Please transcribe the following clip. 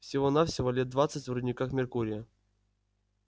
всего-навсего лет двадцать в рудниках меркурия